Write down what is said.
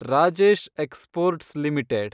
Rajesh exports limited